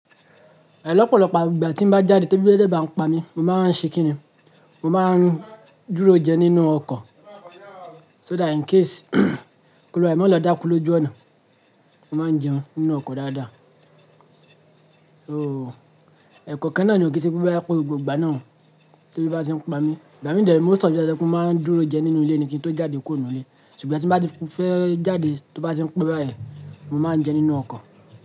Lọ́pọ̀lọpọ̀ ìgbà tí n bá jáde tí ebi bá dé bá n pa mí, mo máa ń ṣe kíni? Mo máa ń dúró jẹ nínú ọkọ̀ so that in case k'oluwa re má lọ dákú lójú ọ̀nà. Mo máa ń jẹun nínú ọkọ̀ dáadáa. So ẹ̀kọ́okan náà ni ò, kii se pé boya gbogbo ìgbà náà o, tí ebi ba ti ń pa mí. Ìgbà mi dẹ̀ re, mo sọ wípé kí n máa dúró jẹ nínú ilé ni kí n tó jáde kuó nu ilé. Ṣùgbọ́n tí bá ti fẹ́ jáde tó bá ti ń pé báyen, mo máa ń jẹ nínú ọkọ̀.